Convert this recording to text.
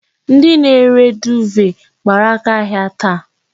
Ndi na-ere duuve gbara aka ahia taa.